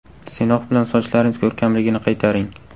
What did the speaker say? Sinox bilan sochlaringiz ko‘rkamligini qaytaring!